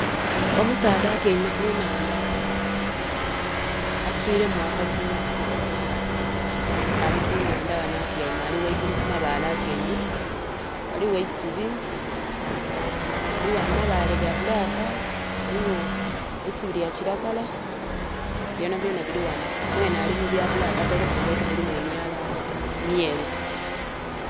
Omusaadha atyaime ku nhaanda, aswiremu akaguwa. Ali ku nhaanda ghano atyaime ali ghaigulu ku mabaale atyaime. Ghaligho eisubi, ghaligho amabaale ga bulaaka, ghaligho eisubi lya kilagala, byonha byonha biri ghanho. mwenhe ali mu byabulaka atailemu engaito dhirimu emyalala myeru.